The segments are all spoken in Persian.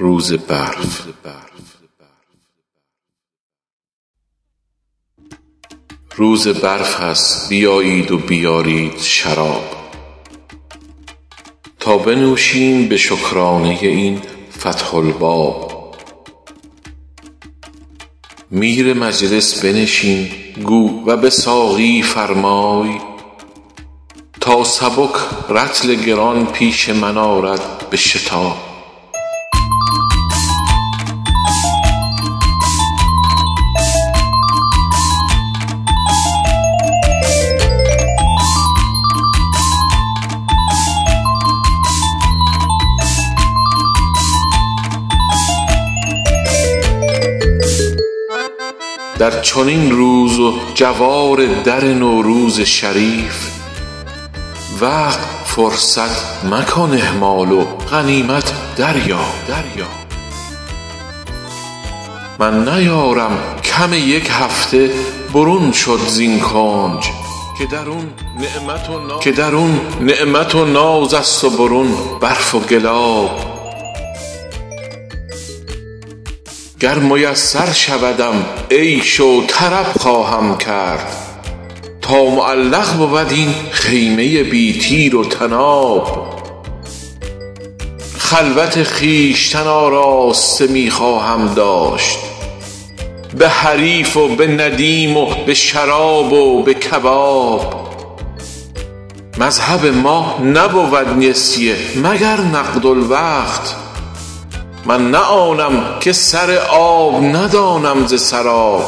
روز برف است بیایید و بیارید شراب تا بنوشیم به شکرانه ی این فتح الباب میر مجلس بنشین گو و به ساقی فرمای تا سبک رطل گران پیش من آرد به شتاب در چنین روز و جوار در نوروز شریف وقت فرصت مکن اهمال و غنیمت دریاب من نیارم کم یک هفته برون شد زین کنج که درون نعمت و ناز است وبرون برف و گلاب گر میسر شودم عیش و طرب خواهم کرد تا معلق بود این خیمه ی بی تیر و طناب خلوت خویشتن آراسته می خواهم داشت به حریف و به ندیم و به شراب و به کباب مذهب ما نبود نسیه مگر نقد الوقت من نه آنم که سر آب ندانم ز سراب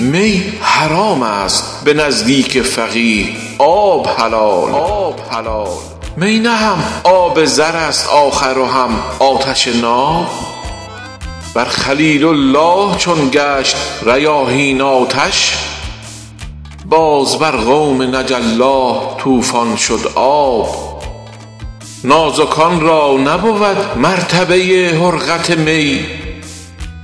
می حرام است به نزدیک فقیه آب حلال می نه هم آب زر است آخر و هم آتش ناب بر خلیل الله چون گشت ریاحین آتش باز بر قوم نجی الله طوفان شد آب نازکان را نبود مرتبه ی حرقت می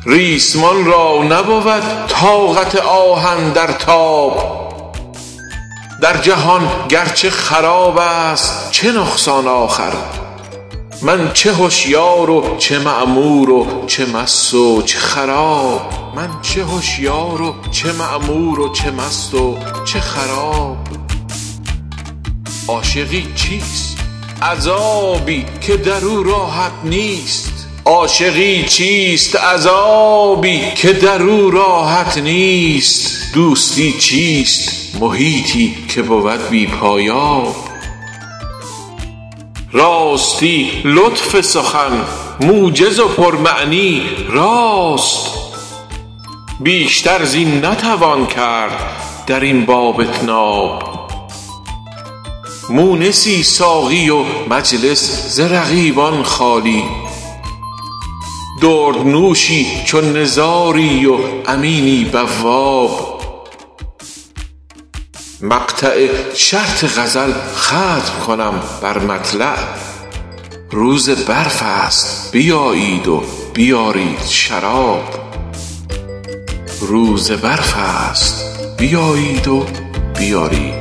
ریسمان را نبود طاقت آهن در تاب در جهان گرچه خراب است چه نقصان آخر من چه هشیار و چه معمور و چه مست و چه خراب عاشقی چیست عذابی که درو راحت نیست دوستی چیست محیطی که بود بی پایاب راستی لطف سخن موجز و پر معنی راست بیشتر زین نتوان کرد در این باب اطناب مونسی ساقی و مجلس ز رقیبان خالی درد نوشی چو نزاری و امینی بواب مقطع شرط غزل ختم کنم بر مطلع روز برف است بیایید و بیارید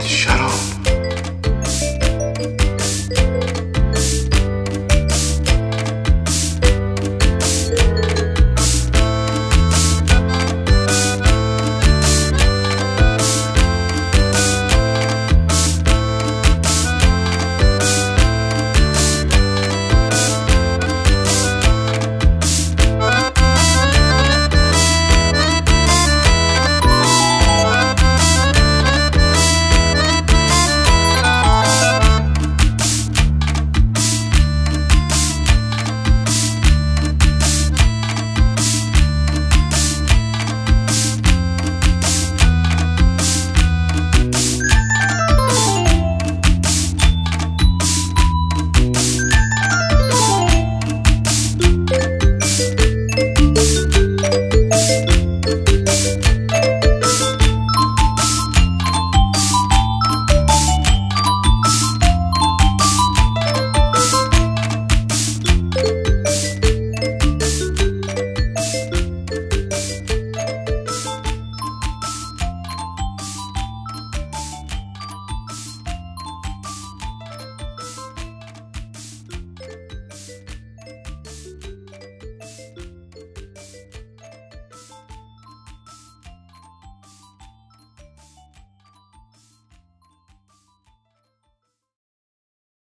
شراب